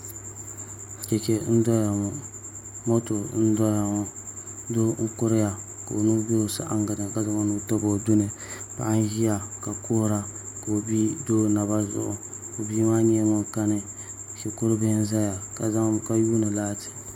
Chɛchɛ n doya ŋo moto n doya ŋo doo n kuriya ka o nuu bɛ o saɣangi ni ka zaŋ o nuu tabi o duni paɣa n ʒiya ka kuhura ka o bia do o naba zuɣu o bia maa nyɛla ŋun kani shikuru bihi n ʒɛya ka yuundi laati